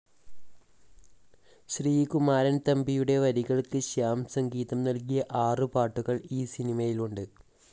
ശ്രീകുമാരൻ തമ്പിയുടെ വരികൾക്ക് ശ്യാം സംഗീതം നൽകിയ ആറു പാട്ടുകൾ ഈ സിനിമയിലുണ്ട്